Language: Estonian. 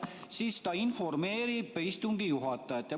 Siis ta nii informeerib istungi juhatajat.